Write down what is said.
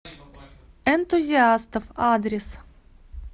энтузиастов адрес